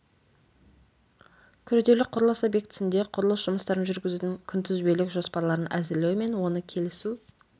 күрделі құрылыс объектісінде құрылыс жұмыстарын жүргізудің күнтізбелік жоспарларын әзірлеу және оны келісу